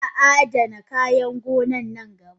Zaa adana kayan gona nan gaba.